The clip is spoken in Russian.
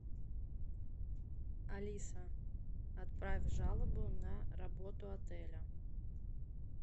алиса отправь жалобу на работу отеля